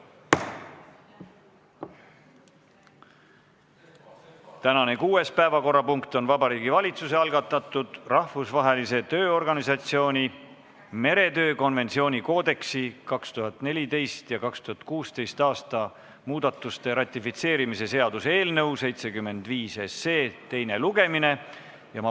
Tänane kuues päevakorrapunkt on Vabariigi Valitsuse algatatud Rahvusvahelise Tööorganisatsiooni meretöö konventsiooni koodeksi 2014. ja 2016. aasta muudatuste ratifitseerimise seaduse eelnõu 75 teine lugemine.